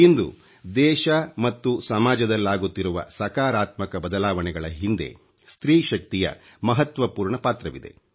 ಇಂದು ದೇಶ ಮತ್ತು ಸಮಾಜದಲ್ಲಾಗುತ್ತಿರುವ ಸಕಾರಾತ್ಮಕ ಬದಲಾವಣೆಗಳ ಹಿಂದೆ ಸ್ತ್ರೀ ಶಕ್ತಿಯ ಮಹತ್ವಪೂರ್ಣ ಪಾತ್ರವಿದೆ